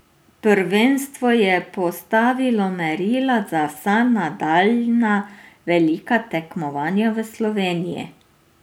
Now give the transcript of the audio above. Prvenstvo je postavilo merila za vsa nadaljnja velika tekmovanja v Sloveniji.